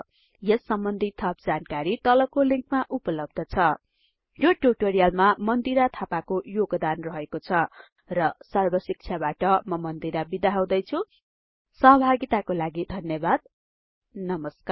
यस सम्बन्धि थप जानकारी तलको लिंकमा उपलब्ध छ यो ट्युटोरियलमा मन्दिरा थापाको योगदान रहेको छ र सर्बशिक्षाबाट म मन्दिरा बिदा हुदैछुँ सहभागिताको लागि धन्यबाद नमस्कार